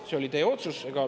See oli teie otsus.